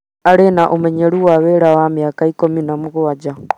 arĩ na ũmenyeru wa wĩra wa mĩaka ikũmi na mũgwanja